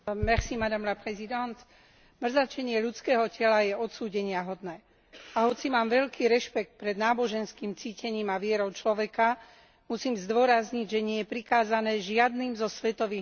Mrzačenie ľudského tela je odsúdeniahodné. A hoci mám veľký rešpekt pred náboženským cítením a vierou človeka, musím zdôrazniť, že nie je prikázané žiadnym zo svetových náboženstiev, ani islamom.